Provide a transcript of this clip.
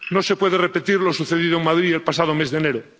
No se puede repetir lo sucedido en Madrid el pasado mes de enero.